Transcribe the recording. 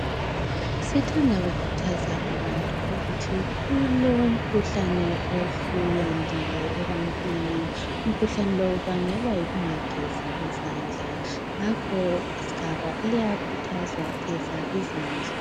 Sithanda kukhuthaza abantu ukuthi kulomkhuhlane osuyandile ebantwini. Umkhuhlane lo ubangelwa yikungagezi izandla ngakho sigaba uyakhuthazwa geza izandla.